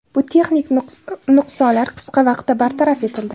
Bu texnik nuqsonlar qisqa vaqtda bartaraf etildi.